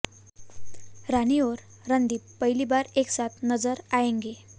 रानी और रणदीप पहली बार एक साथ नजर आएंगे